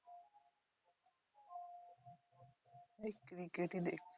এই cricket ই দেখছি।